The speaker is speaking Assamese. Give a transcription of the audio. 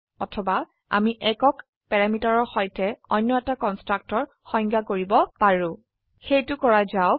অথবা আমি একক প্যাৰামিটাৰৰ সৈতে অনয় এটা কন্সট্ৰকটৰ সংজ্ঞা কৰিব পাৰো সেইটো কৰা যাওক